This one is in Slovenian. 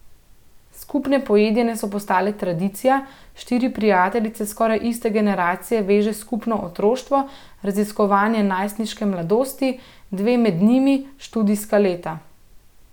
Skupne pojedine so postale tradicija, štiri prijateljice skoraj iste generacije veže skupno otroštvo, raziskovanje najstniške mladosti, dve med njimi študijska leta.